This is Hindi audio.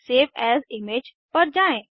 सेव एएस इमेज पर जाएँ